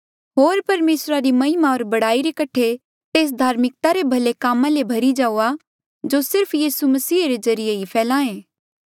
होर परमेसर री महिमा होर बड़ाई रे कठे तेस धार्मिकता रे भले कामा ले भरी जाऊआ जो सिर्फ यीसू मसीह रे ज्रीए ही फला ऐें